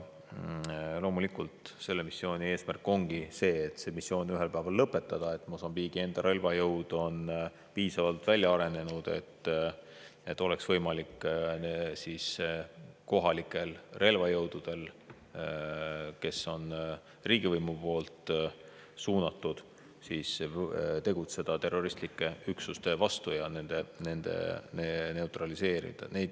Loomulikult eesmärk on see missioon ühel päeval lõpetada, et Mosambiigi enda relvajõud oleks piisavalt välja arenenud, et kohalikud relvajõud, kes on riigivõimu poolt suunatud, suudaksid tegutseda terroristlike üksuste vastu ja neid neutraliseerida.